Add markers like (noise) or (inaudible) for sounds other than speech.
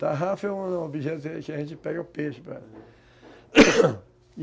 Tarrafa é um objeto que a gente pega o peixe (coughs)